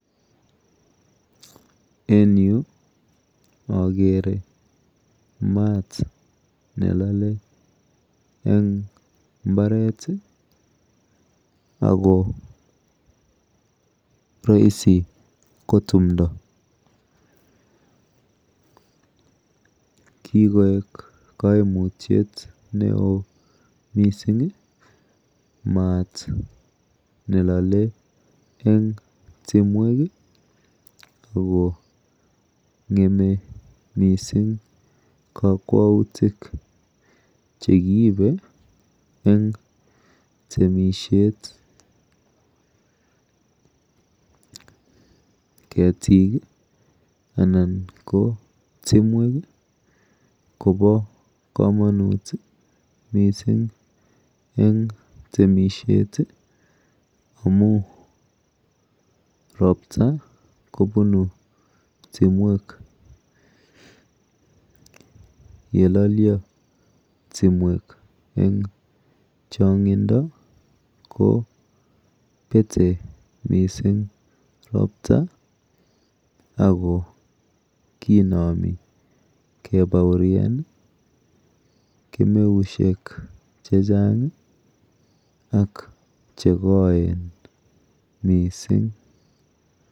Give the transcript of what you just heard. En yu akere maat nelole eng mbaret ako roisi ko tumdo. Kikoek kaimutyet neo mising mat nelole eng tumwek akong'eme mising kakwautik chekiibe eng temishet. Ketik anan ko timwek kopo komonut mising eng temishet amu ropta kobunu timwek. Yelolyo timwek eng chong'indo ko pete mosing ropta ako kinomi kebaorian kemeushek chechang ak chekoen mising.